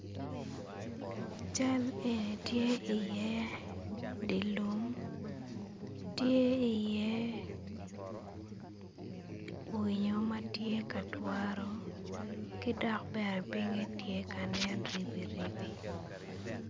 Cal eni tye iye dye lum tye iye winyo ma tye ka twaro ki dok bene pinye tye ka nen ribiribi.